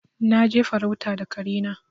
Na je farauta da kare na.